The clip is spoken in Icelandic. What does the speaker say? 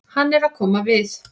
Hann er að koma við.